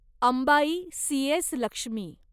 Ambai C S. Lakshmi